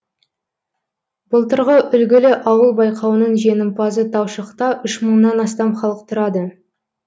былтырғы үлгілі ауыл байқауының жеңімпазы таушықта үш мыңнан астам халық тұрады